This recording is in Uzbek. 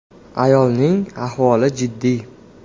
Ayolning ahvoli jiddiy.